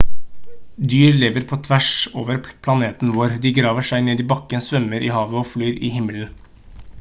dyr lever på tvers over planeten vår de graver seg ned i bakken svømmer i havet og flyr i himmelen